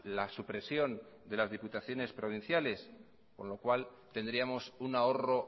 la supresión de las diputaciones provinciales con lo cual tendríamos un ahorro